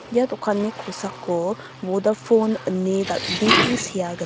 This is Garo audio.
ia dokanni kosako bodapon ine dal·bee sea gnang.